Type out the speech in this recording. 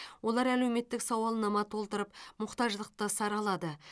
олар әлеуметтік сауалнама толтырып мұқтаждықты саралады